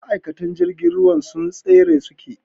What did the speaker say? Ma'aikatan jirgin sun tsare su ke.